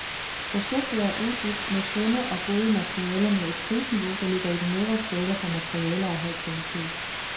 Projektet er udbudt med sunde og gode materialer med et prisniveau, der ligger i den nedre skala for materialer af høj kvalitet.